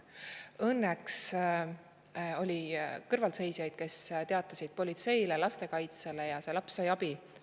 Õnneks oli kõrvalseisjaid, kes teatasid politseisse ja lastekaitsesse, ning see laps sai abi.